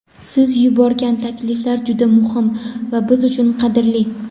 Siz yuborgan takliflar juda muhim va biz uchun qadrli.